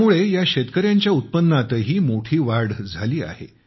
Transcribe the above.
यामुळे ह्या शेतकऱ्यांच्या उत्पन्नातही मोठी वाढ झाली आहे